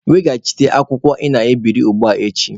Weghachite akwụkwọ a ị na-ebiri ugbua echi!